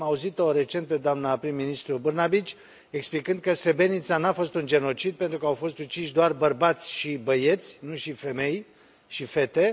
Am auzit o recent pe doamna prim ministru Brnabić explicând că Srebrenica nu a fost un genocid pentru că au fost uciși doar bărbați și băieți, nu și femei și fete.